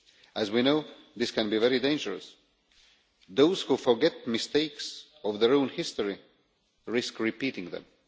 As we know, this can be very dangerous. Those who forget mistakes of their own history risk repeating them.